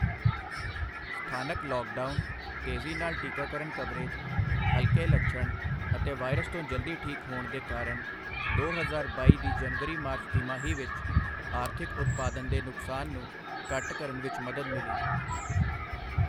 ਸਥਾਨਕ ਲੌਕਡਾਊਨ, ਤੇਜ਼ੀ ਨਾਲ ਟੀਕਾਕਰਨ ਕਵਰੇਜ, ਹਲਕੇ ਲਛਣ ਅਤੇ ਵਾਇਰਸ ਤੋਂ ਜਲਦੀ ਠੀਕ ਹੋਣ ਦੇ ਕਾਰਨ ਦੋ ਹਜ਼ਾਰ ਬਾਈ ਦੀ ਜਨਵਰੀ ਮਾਰਚ ਤਿਮਾਹੀ ਵਿੱਚ ਆਰਥਿਕ ਉਤਪਾਦਨ ਦੇ ਨੁਕਸਾਨ ਨੂੰ ਘੱਟ ਕਰਨ ਵਿੱਚ ਮਦਦ ਮਿਲੀ।